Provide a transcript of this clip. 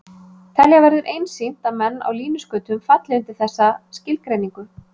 Telja verður einsýnt að menn á línuskautum falli undir þessa skilgreiningu.